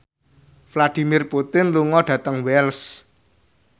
Vladimir Putin lunga dhateng Wells